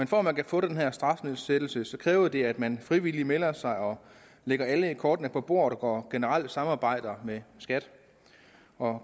for at man kan få den her strafnedsættelse kræver det at man frivilligt melder sig og lægger alle kortene på bordet og generelt samarbejder med skat